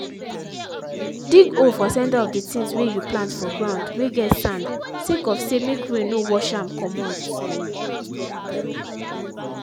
dig hole for centre of the things whey you plant for ground whey get sand sake of say make rain no wash am comot.